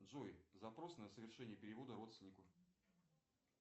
джой запрос на совершение перевода родственнику